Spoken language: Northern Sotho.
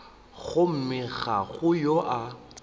gomme ga go yo a